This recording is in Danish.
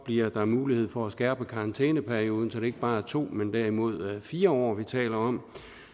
bliver der mulighed for at skærpe karantæneperioden så det ikke bare er to men derimod fire år vi taler om